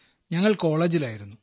ഞങ്ങൾ കോളേജിലായിരുന്നു